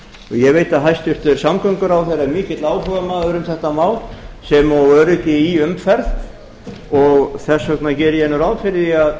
ég veit að hæstvirtur samgönguráðherra er mikill áhugamaður um þetta mál sem og öryggi í umferð og þess vegna geri ég ráð fyrir því að